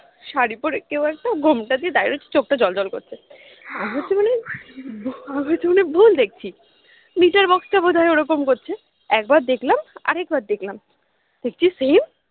শাড়ি পরে কেউ একটা ঘোমটা দিয়ে দাঁড়িয়ে রয়েছে চোখটা জ্বলজ্বল করছে আমার তো মনে হয় ভুল দেখছি meter box টা বোধ হয় ওরকম করছে একবার দেখলাম আরেকবার দেখলাম দেখছি same